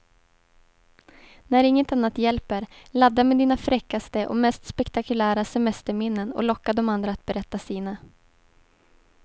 När inget annat hjälper, ladda med dina fräckaste och mest spektakulära semesterminnen och locka de andra att berätta sina.